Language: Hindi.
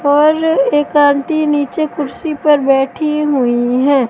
और एक आंटी नीचे कुर्सी पर बैठी हुईं हैं।